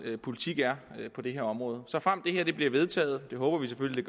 politik er på det her område såfremt det her bliver vedtaget det håber vi selvfølgelig